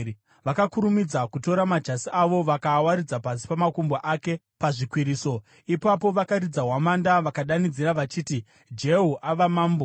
Vakakurumidza kutora majasi avo vakaawaridza pasi pamakumbo ake pazvikwiriso. Ipapo vakaridza hwamanda vakadanidzira vachiti, “Jehu ava mambo!”